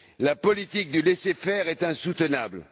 La politique de laisser faire est insoutenable.